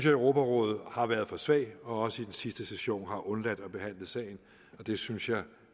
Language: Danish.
at europarådet har været for svagt og også i den sidste session har man undladt at behandle sagen det synes jeg